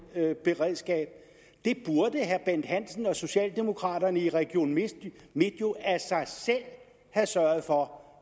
beredskab det burde herre bent hansen og socialdemokraterne i region midtjylland jo af sig selv have sørget for